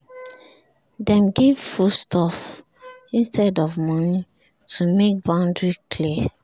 dem give food stuff instead of money to make boundary clear